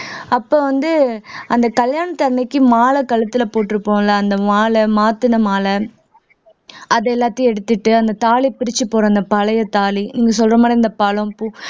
அப்ப வந்து அந்த கல்யாணத்தன்னைக்கு மாலை கழுத்துல போட்டிருப்போம்ல அந்த மாலை மாத்துன மாலை அது எல்லாத்தையும் எடுத்திட்டு அந்த தாலி பிரிச்சு போடுற அந்த பழைய தாலி நீங்க சொல்ற மாதிரி இந்த பழம் பூ